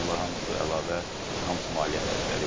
Bunlar hamısı əlavə, hamısı maliyyə xərcləridir.